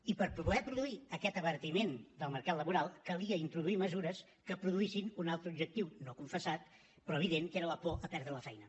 i per poder produir aquest abaratiment del mercat laboral calia introduir mesures que produïssin un altre objectiu no confessat però evident que era la por de perdre la feina